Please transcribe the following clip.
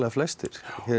flestir